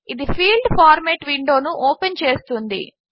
ఇది field format విండోను open చేస్తుంది